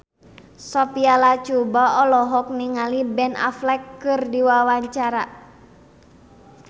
Sophia Latjuba olohok ningali Ben Affleck keur diwawancara